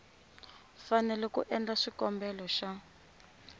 fanele ku endla xikombelo xa